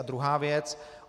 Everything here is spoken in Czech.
A druhá věc.